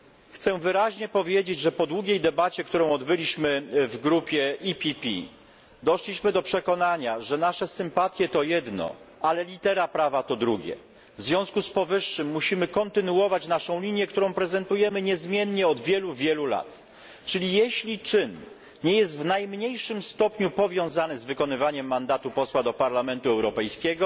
chcę wyraźnie powiedzieć, że po długiej debacie, którą odbyliśmy w grupie PPE, doszliśmy do przekonania, że nasze sympatie to jedno, a litera prawa to drugie. W związku z powyższym musimy kontynuować naszą linię, którą prezentujemy niezmiennie od wielu lat czyli jeśli czyn nie jest w najmniejszym stopniu powiązany z wykonywaniem mandatu posła do Parlamentu Europejskiego,